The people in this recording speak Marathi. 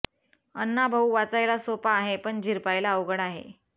अण्णा भाऊ वाचायला सोपा आहे पण झिरपायला अवघड आहे